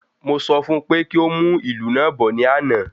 Mo sọ fún pé kí o mu ilu naa bọ̀ ní àna